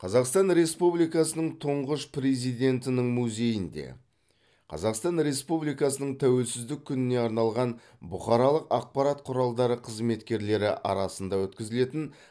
қазақстан республикасының тұңғыш президентінің музейінде қазақстан республикасының тәуелсіздік күніне арналған бұқаралық ақпарат құралдары қызметкерлері арасында өткізілетін